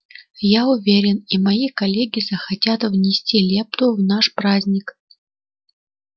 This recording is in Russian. я уверен и мои коллеги захотят внести лепту в наш праздник